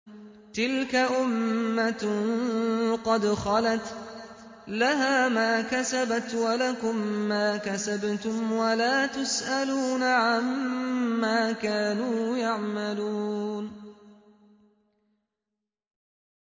تِلْكَ أُمَّةٌ قَدْ خَلَتْ ۖ لَهَا مَا كَسَبَتْ وَلَكُم مَّا كَسَبْتُمْ ۖ وَلَا تُسْأَلُونَ عَمَّا كَانُوا يَعْمَلُونَ